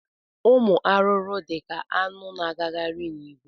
Ụmụ arụrụ dị ka aṅụ na-agakarị n'ìgwè